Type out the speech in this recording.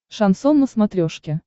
шансон на смотрешке